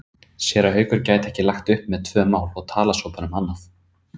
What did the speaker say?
Séra Haukur gæti ekki lagt upp með tvö mál og talað svo bara um annað.